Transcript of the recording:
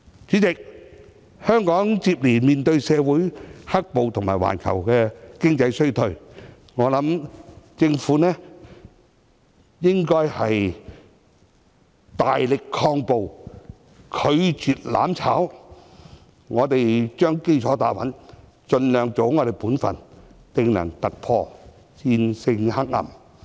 主席，香港接連面對社會"黑暴"及環球經濟衰退，我認為政府應該大力抗暴，拒絕"攬炒"，我們將基礎打穩，盡量做好本分，定能突破，戰勝黑暗。